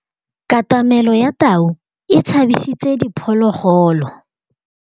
Katamêlô ya tau e tshabisitse diphôlôgôlô.